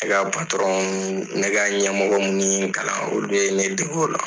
E ka ne ka ɲɛmɔgɔ minnu ye ne kalan olu de ye ne dege o la.